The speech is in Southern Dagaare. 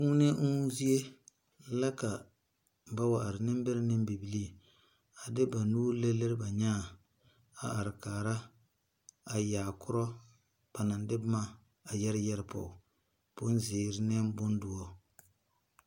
Kuonee ɔɔnuu zeɛ la ka ba wa arẽ nimbere ne bibiiri a de ba nuuri liri liri ba nyaã a arẽ kaara a yaa kuro ba nang de buma a yere yere puo bunziiri ne bundɔri.